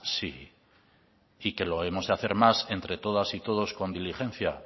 sí y que lo hemos de hacer más entre todas y todos con diligencia